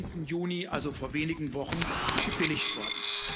17. Juni also vor wenigen Wochen gebilligt worden.